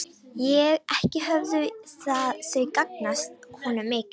Ekki höfðu þau gagnast honum mikið.